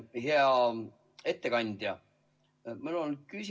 Hea ettekandja!